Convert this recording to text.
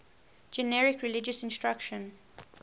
generic religious instruction